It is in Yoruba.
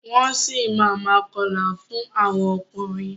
Wọ́n si máa ma kọlà fún àwọn ọkùnrin.